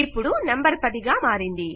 ఇపుడు నంబర్ 10 గా మారింది